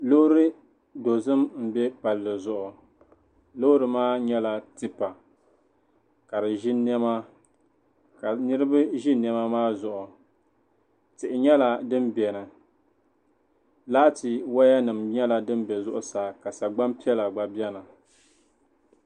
Loori dozim m-be palli zuɣu loori maa nyɛla tipa ka di ʒi nɛma ka niriba ʒi nɛma maa zuɣu tihi nyɛla din beni laati wayanima nyɛla din be zuɣusaa ka sagbani piɛla gba beni.